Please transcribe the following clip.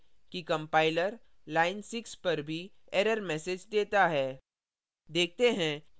याद करें कि compiler line 6 पर भी error message देता है